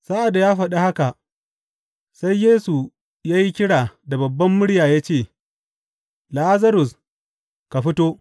Sa’ad da ya faɗa haka, sai Yesu ya yi kira da babbar murya ya ce, Lazarus, ka fito!